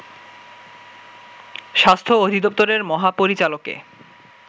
স্বাস্থ্য অধিদপ্তরের মহাপরিচালকে